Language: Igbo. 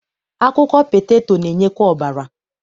Akwụkwọ peteto na-enyekwa ọbara.